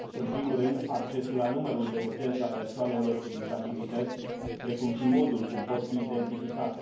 În primul rând, accesul la numărul de urgență al persoanelor cu dizabilități, precum și modul cum pot fi identificate.